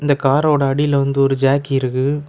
இந்த கார் ஓட அடில வந்து ஓரு ஜாக்கி இருக்கு.